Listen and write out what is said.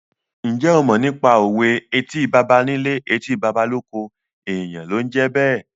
Ǹjẹ́ o mọ nípa òwe "Etí baba nílé, etí baba lóko, èèyàn ló ń jẹ́ bẹ́ẹ̀?"